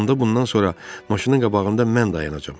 Onda bundan sonra maşının qabağında mən dayanacam.